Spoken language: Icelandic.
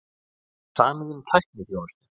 Samið um tækniþjónustu